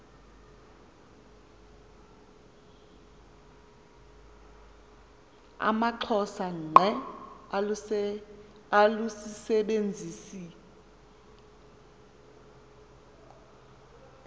amaxhosa ngqe alusisebenzisi